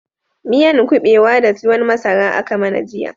Miyan kubewa da tuwon masara aka mana jiya